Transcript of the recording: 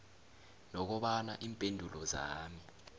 nokobana iimpendulo zami